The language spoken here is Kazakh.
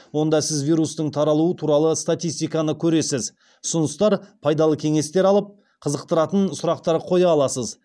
онда сіз вирустың таралуы туралы статистиканы көресіз ұсыныстар пайдалы кеңестер алып қызықтыратын сұрақтар қоя аласыз